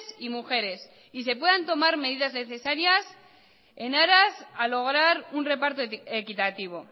y mujeres y se puedan tomar medidas necesarias en aras a lograr un reparto equitativo